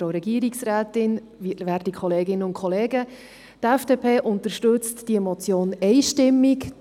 Die FDP unterstützt diese Motion einstimmig.